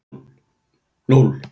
O